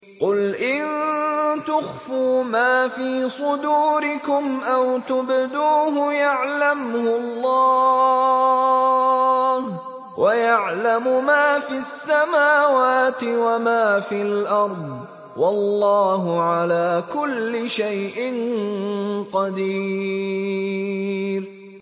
قُلْ إِن تُخْفُوا مَا فِي صُدُورِكُمْ أَوْ تُبْدُوهُ يَعْلَمْهُ اللَّهُ ۗ وَيَعْلَمُ مَا فِي السَّمَاوَاتِ وَمَا فِي الْأَرْضِ ۗ وَاللَّهُ عَلَىٰ كُلِّ شَيْءٍ قَدِيرٌ